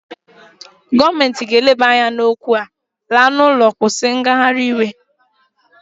Gọọmenti ga-eleba anya n'okwu a, laa n'ụlọ, kwụsị ngagharị iwe!